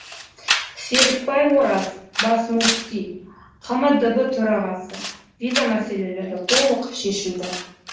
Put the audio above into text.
серікбай ораз бас мүфти қмдб төрағасы виза мәселелері толық шешілді